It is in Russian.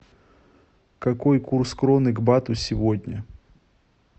какой курс кроны к бату сегодня